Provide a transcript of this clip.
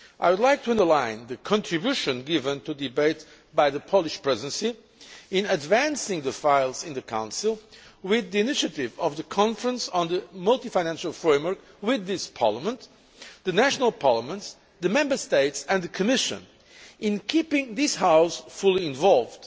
I would like to underline the contribution given to the debate by the Polish Presidency in advancing the files in the Council through the initiative of the conference on the Multiannual Financial Framework between this Parliament, the national parliaments, the Member States and the Commission, and in keeping this House fully involved